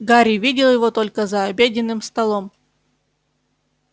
гарри видел его только за обеденным столом